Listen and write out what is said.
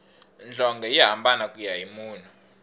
nhlonge yi hambana kuya hi munhu